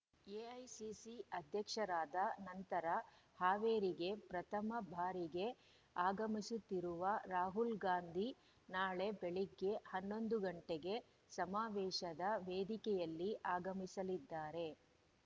AICC ಅಧ್ಯಕ್ಷರಾದ ನಂತರ ಹಾವೇರಿಗೆ ಪ್ರಥಮ ಬಾರಿಗೆ ಆಗಮಿಸುತ್ತಿರುವ ರಾಹುಲ್ ಗಾಂಧಿ ನಾಳೆ ಬೆಳಿಗ್ಗೆ ಹನ್ನೊಂದು ಗಂಟೆಗೆ ಸಮಾವೇಶದ ವೇದಿಕೆಯಲ್ಲಿ ಆಗಮಿಸಲಿದ್ದಾರೆ